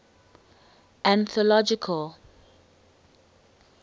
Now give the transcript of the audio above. anthological